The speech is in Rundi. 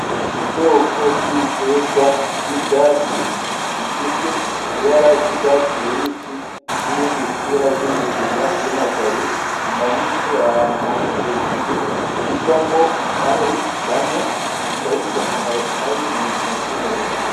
Ubwoko bw'ibiterwa vy'ivyatsi bifise ibara ry'urwatsi rubisi n'ibindi bifise ibara ry'umugina vyumaganye, bimanitse ahantu hamwe hejuru, bivamwo itabi banwa. Bikaba bifise akamaro kabi mu buzima bw'umuntu.